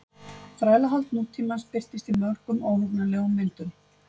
Þrælahald nútímans birtist í mörgum óhugnanlegum myndum.